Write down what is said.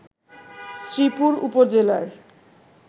শ্রীপুর উপজেলার